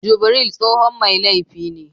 Jubril tsohon mai laifi ne